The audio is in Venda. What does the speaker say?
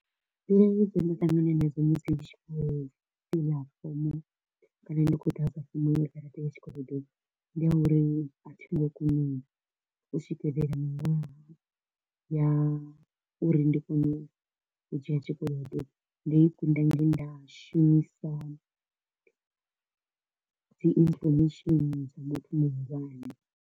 Nda ṱangana nadzo musi ndi tshi kho u fila form kana ndi kho u ḓadza form ndi ya uri a thi ngo kona u swikelela miṅwaha ya uri ndi kone u dzhia tshikolodo, ndo i kunda nge nda shumisa dzi information dza muthu muhulwane.